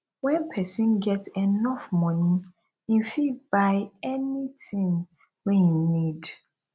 when persin get enough money im fit buy anything wey im need